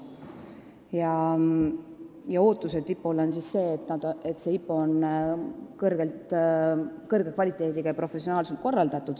IPO-ga seotud ootus on eelkõige see, et IPO on kõrge kvaliteediga ja professionaalselt korraldatud.